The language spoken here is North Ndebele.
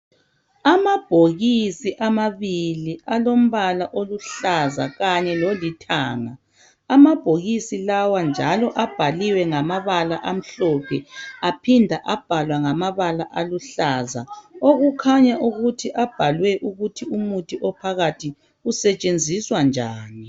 Amabhokisi amabili alombala oluhlaza Kanye lolithanga .Amabhokisi lawa njalo abhaliwe ngamabala amhlophe aphinda abhalwa ngamabala aluhlaza. Okukhanya ukuthi abhalwe ukuthi umuthi ophakathi usetshenziswa njani.